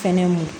Fɛnɛ ma ɲi